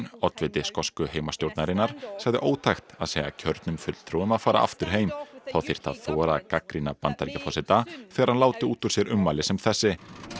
oddviti skosku heimastjórnarinnar sagði ótækt að segja kjörnum fulltrúum að fara aftur heim þá þyrfti að þora að gagnrýna Bandaríkjaforseta þegar hann láti út úr sér ummæli sem þessi